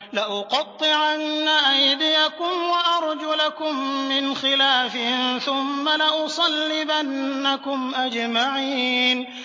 لَأُقَطِّعَنَّ أَيْدِيَكُمْ وَأَرْجُلَكُم مِّنْ خِلَافٍ ثُمَّ لَأُصَلِّبَنَّكُمْ أَجْمَعِينَ